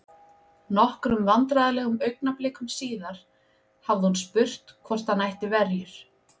Nokkrum vandræðalegum augnablikum síðar hafði hún spurt hvort hann ætti verjur?